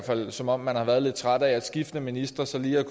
som om man har været lidt træt af at skiftende ministre så lige